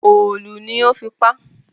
Òòlù ni ó fi pa á